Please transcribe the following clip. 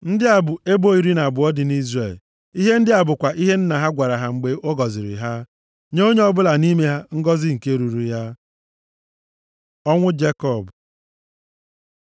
Ndị a bụ ebo iri na abụọ dị nʼIzrel. Ihe ndị a bụkwa ihe nna ha gwara ha mgbe ọ gọziri ha, nye onye ọbụla nʼime ha ngọzị nke ruuru ya. Ọnwụ Jekọb